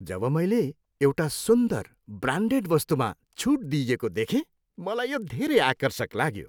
जब मैले एउटा सुन्दर, ब्रान्डेड वस्तुमा छुट दिइएको देखेँ मलाई यो धेरै आकर्षक लाग्यो।